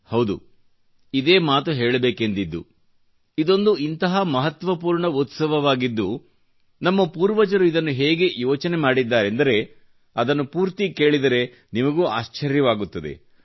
ಹೌದು ಇದೇ ಮಾತು ಹೇಳಬೇಕೆಂದಿದ್ದು ಇದೊಂದು ಇಂತಹ ಮಹತ್ವಪೂರ್ಣ ಉತ್ಸವವಾಗಿದ್ದು ನಮ್ಮ ಪೂರ್ವಜರು ಇದನ್ನು ಹೇಗೆ ಇಚನೆ ಮಾಡಿದ್ದಾರೆಂದರೆ ಅದನ್ನು ಪೂರ್ಣ ಕೇಳಿದರೆ ನಿಮಗೂ ಆಶ್ಚರ್ಯವಾಗುತ್ತದೆ